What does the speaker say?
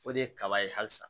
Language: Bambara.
O de ye kaba ye halisa